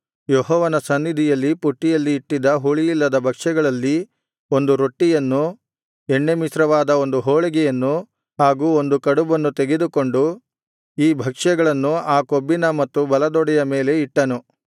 ಯೆಹೋವನ ಸನ್ನಿಧಿಯಲ್ಲಿ ಪುಟ್ಟಿಯಲ್ಲಿ ಇಟ್ಟಿದ್ದ ಹುಳಿಯಿಲ್ಲದ ಭಕ್ಷ್ಯಗಳಲ್ಲಿ ಒಂದು ರೊಟ್ಟಿಯನ್ನು ಎಣ್ಣೆಮಿಶ್ರವಾದ ಒಂದು ಹೋಳಿಗೆಯನ್ನು ಹಾಗು ಒಂದು ಕಡುಬನ್ನು ತೆಗೆದುಕೊಂಡು ಈ ಭಕ್ಷ್ಯಗಳನ್ನು ಆ ಕೊಬ್ಬಿನ ಮತ್ತು ಬಲದೊಡೆಯ ಮೇಲೆ ಇಟ್ಟನು